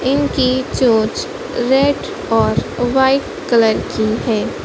इनकी चोंच रेड और वाइट कलर की है।